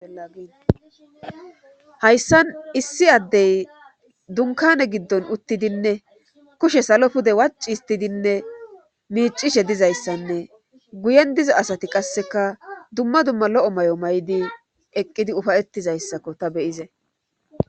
ainhayssan issi addey dunkane giddon uttidinne kushe salo pude waci histidinne miicishe dizayssanne guyen diza asati qasseka dumma dumma lo7o may7o may7di eqqidi ufayettizayssakko ta beyize